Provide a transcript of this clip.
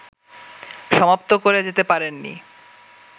সমাপ্ত করে যেতে পারেন নি